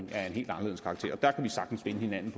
helt anderledes karakter der vi sagtens finde hinanden